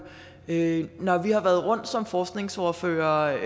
øger når vi har været rundt som forskningsordførere